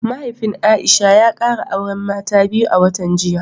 Mahaifin Aisha ya kara auren mata biyu a watan jiya